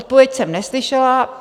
Odpověď jsem neslyšela.